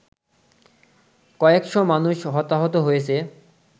কয়েকশ মানুষ হতাহত হয়েছে